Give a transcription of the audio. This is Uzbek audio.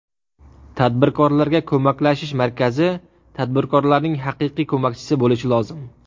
Tadbirkorlarga ko‘maklashish markazi tadbirkorlarning haqiqiy ko‘makchisi bo‘lishi lozim.